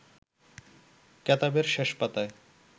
কেতাবের শেষ পাতায়